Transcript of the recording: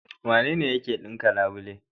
Wanene yake ɗinka labule?